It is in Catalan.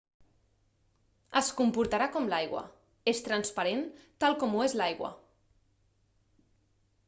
es comportarà com l'aigua és transparent tal com ho és l'aigua